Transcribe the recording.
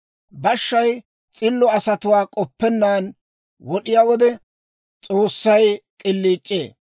Bashshay s'illo asatuwaa k'oppennaan wod'iyaa wode, S'oossay k'iliic'ee.